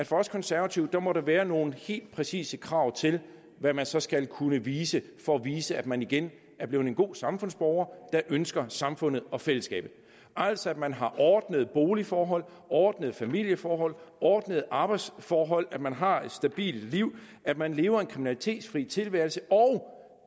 for os konservative må der være nogle helt præcise krav til hvad man så skal kunne vise for at vise at man igen er blevet en god samfundsborger der ønsker samfundet og fællesskabet altså at man har ordnede boligforhold ordnede familieforhold ordnede arbejdsforhold at man har et stabilt liv at man lever en kriminalitetsfri tilværelse og